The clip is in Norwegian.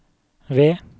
ved